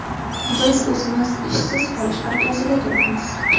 Biz o‘zimiz ishsiz qolish arafasida turibmiz.